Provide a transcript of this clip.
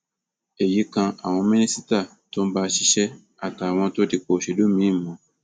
èyí kan àwọn mínísítà tó ń bá a ṣiṣẹ àtàwọn tó dipò òṣèlú míín mú